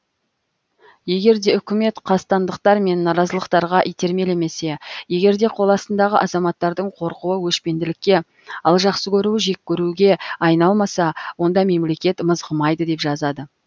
егерде үкімет қастандықтар мен наразылықтарға итермелемесе егерде қол астындағы азаматтардың қорқуы өшпенділікке ал жақсы көруі жек көруге айналмаса онда мемлекет мызғымайды деп жазады